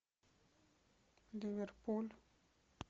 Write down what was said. ливерпуль